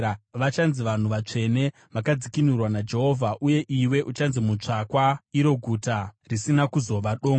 Vachanzi Vanhu Vatsvene, Vakadzikinurwa vaJehovha; uye iwe uchanzi Mutsvakwa, iro Guta Risina Kuzova Dongo.